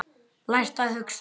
Lært að hugsa.